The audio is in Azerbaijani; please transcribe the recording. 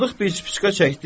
Sadıq bir spişka çəkdi.